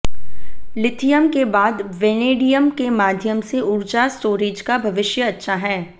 lithium के बाद vanadium के माध्यम से ऊर्जा स्टोरेज का भविष्य अच्छा है